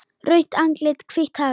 Rautt andlit, hvítt hár.